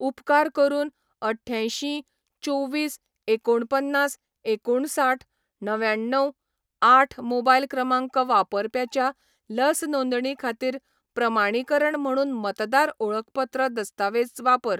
उपकार करून अट्यांशी चोवीस एकोणपन्नास एकोणसाठ णव्याण्णव आठ मोबायल क्रमांक वापरप्याच्या लस नोंदणी खातीर प्रमाणीकरण म्हणून मतदार ओळखपत्र दस्तावेज वापर.